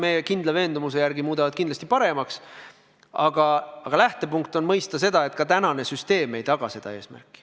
Meie kindla veendumuse järgi muudavad need olukorra kindlasti paremaks, aga lähtepunkt on mõista seda, et ka praegune süsteem ei täida soovitud eesmärki.